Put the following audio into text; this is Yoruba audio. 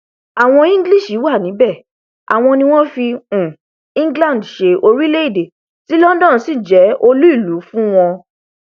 àwọn english wà níbẹ àwọn ni wọn fi um england ṣe orílẹèdè tí london sì jẹ olú ìlú um fún wọn